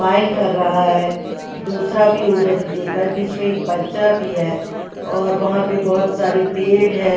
Smile कर रहा है दूसरा भी उधर देख रहा है बीच में एक बच्चा भी है और वहाँ पर बहुत सारे पेड़ भी हैं।